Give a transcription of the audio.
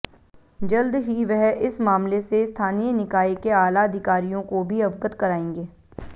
जल्द ही वह इस मामले से स्थानीय निकाय के आला अधिकारियों को भी अवगत कराएंगे